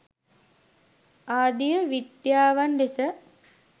ආදිය විද්‍යාවන් ලෙස